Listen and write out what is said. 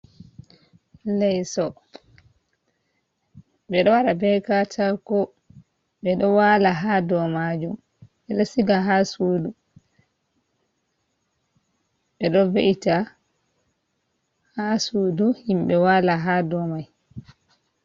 Leso ɓeɗo waɗa be katako ɓeɗo wala ha ɗomajum ɓeɗo siga ha sudu ɓeɗo ve ita ha sudu himɓe wala ha domay.